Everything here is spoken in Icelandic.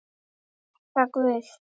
Þakka guði.